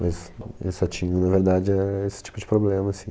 Mas eles só tinham, na verdade, é esse tipo de problema, assim.